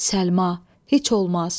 Səlma, heç olmaz.